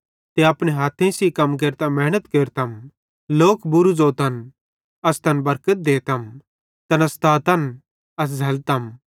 ते अपने हथेइं सेइं कम केरतां मेहनत केरतम लोक बूरू ज़ोतन अस तैन बरकत देतम तैना सतातन अस झ़ैल्लतम